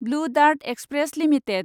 blue dart express limited